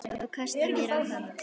Og kasta mér á hana.